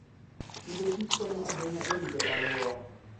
Agriculture and Foodkonyo ahinya e rito alwora.